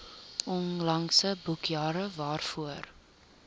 onlangse boekjare waarvoor